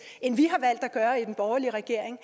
end vi har valgt at gøre i den borgerlige regering